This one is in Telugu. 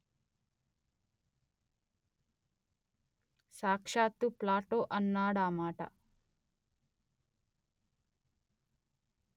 సాక్షాత్తూ ప్లాటో అన్నాడా మాట